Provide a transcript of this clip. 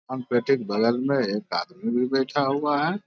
दानपेटी के बगल में एक आदमी भी बैठा हुआ है।